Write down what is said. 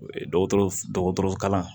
Dɔgɔtɔrɔ dɔgɔtɔrɔ kalan